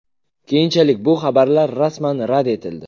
Keyinchalik bu xabarlar rasman rad etildi .